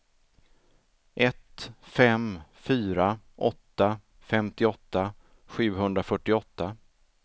ett fem fyra åtta femtioåtta sjuhundrafyrtioåtta